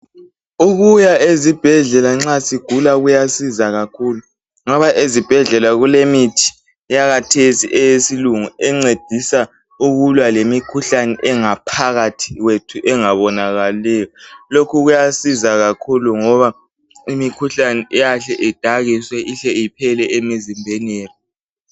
Ukuya ezibhedlela nxa sigula kuyasiza kakhulu, ngoba ezibhedlela kulemithi eyakathesi eyesilungu encedisa ukulwa lemikhuhlane engaphakathi kwethu engabonakaliyo. Lokhu kuyasiza kakhulu ngoba imikhuhlane iyahle idakiswe ihle iphele emizimbeni yethu.